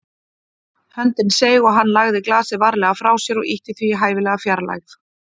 Höndin seig og hann lagði glasið varlega frá sér og ýtti því í hæfilega fjarlægð.